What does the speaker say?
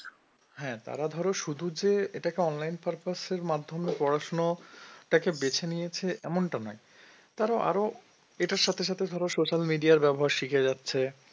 হ্যাঁ তারা ধরো শুধু যে এটাকে online purpose এর মাধ্যমে পড়াশোনা টাকে বেছে নিয়েছে এমনটা নয় তাঁরা আরও এটার সাথে সাথে ধরো social media র ব্যবহার শিখে যাচ্ছে